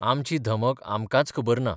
आमची धमक आमकांच खबर ना.